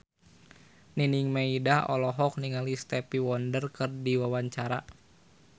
Nining Meida olohok ningali Stevie Wonder keur diwawancara